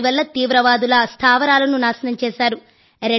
దాని వల్ల తీవ్రవాదుల స్థావరాలను నాశనం చేశారు